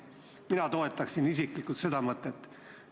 Mina isiklikult toetan seda mõtet.